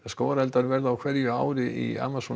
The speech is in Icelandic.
skógareldar verða á hverju ári í Amazon